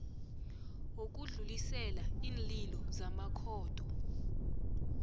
wokudlulisela iinlilo zamakhotho